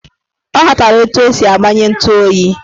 Ọ ghọtara etu esi agbanye ntu oyi